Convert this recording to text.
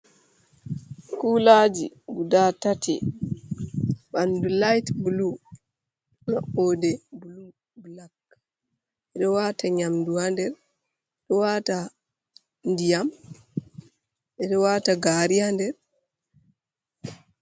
Kulaji guda tati ɓanɗu lait blu, maɓɓode blu, blak, ɓe ɗo wata nyamdu ha nder, ɓe ɗo waɗa ndiyam ha nder, ɓeɗo wata gari ha nder.